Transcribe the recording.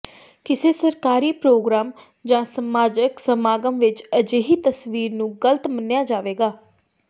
ਕਿਸੇ ਸਰਕਾਰੀ ਪ੍ਰੋਗ੍ਰਾਮ ਜਾਂ ਸਮਾਜਕ ਸਮਾਗਮ ਵਿਚ ਅਜਿਹੀ ਤਸਵੀਰ ਨੂੰ ਗ਼ਲਤ ਮੰਨਿਆ ਜਾਵੇਗਾ